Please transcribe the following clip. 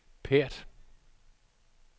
Perth